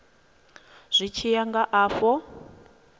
zwi tshi ya nga afho